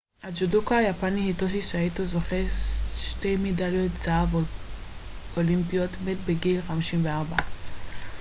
הג'ודוקה היפני היטושי סאיטו זוכה שתי מדליות זהב אולימפיות מת בגיל 54